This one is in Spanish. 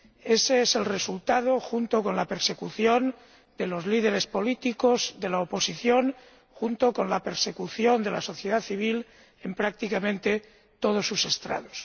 Ese es el resultado, junto con la persecución de los líderes políticos de la oposición, junto con la persecución de la sociedad civil en prácticamente todos sus estratos.